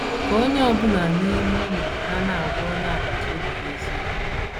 Ka onye ọ bụla n’ime unu na - na - agwa onye agbata obi ya eziokwu.